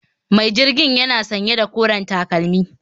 Mai mai jirgin yana sanye da koren takalmi